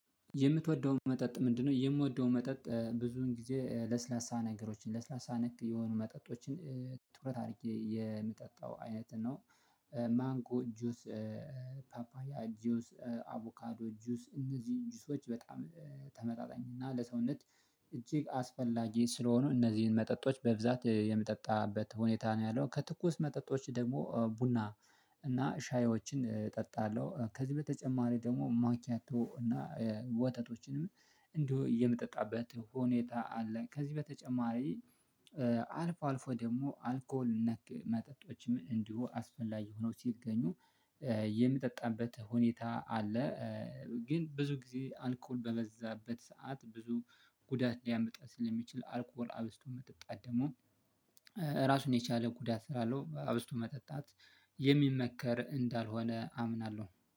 የምትወደው መጠጥ ምንድነው? የምወደው መጠጥ ብዙን ጊዜ ለስላሳ ነገሮችን ለስላሳ ነክ የሆኑ መጠጦችን ትኩረት አድርጌ የምጠጣው አይነት ነው። ማንጎ ጁስ፣ ፓፓያ ጁስ፣ አቮካዶ ጁስ እነዚህ ጁሶች በጣም ተመጣጣኝ እና ለሰውነት እጅግ አስፈላጊ ስለሆኑ እነዚህን መጠጦች በብዛት የምጠጣበት ሁኔታ ነው። ያለው ከትኩስ መጠጦች ደግሞ ቡና እና ሻዮችን እጠጣለሁ። ከዚህ በተጨማሪ ደግሞ ማኪያቶ እና ወተቶችንም እንዲሁ የምጠጣበት ሁኔታ አለ። ከዚህ በተጨማሪ አልፎ አልፎ ደግሞ አልኮል ነክ መጠጦችም እንዲሁ አስፈላጊ ሆነው ሲገኙ የምጠጣበት ሁኔታ አለ። ግን ብዙ ጊዜ አልኮል በበዛበት ሰዓት ብዙ ጉዳት ሊያመጣ ስለሚችል አልኮጎል አብስቶ መጠጣት ደግሞ ራሱን የቻለ ጉዳት ስላለው አብስቶ መጠጣት የሚመከር እንዳልሆነ አምናለሁ።